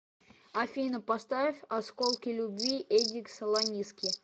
афина поставь осколки любви эдик салониски